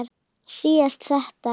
Síðan þetta